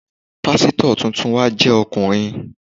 Pásítọ̀ tuntun wa jẹ́ ọkùnrin.